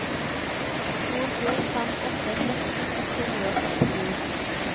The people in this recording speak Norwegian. to to fem åtte tretten ett hundre og sekstini